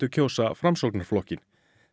kjósa Framsóknarflokkinn